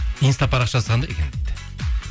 инста парақшасы қандай екен дейді